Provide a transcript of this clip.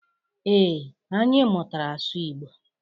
Ee, anyị mụtara asụ Igbo.